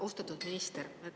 Austatud minister!